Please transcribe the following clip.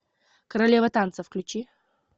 королева танца включи